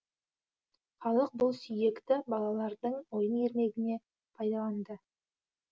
халық бұл сүйекті балалардың ойын ермегіне пайдаланды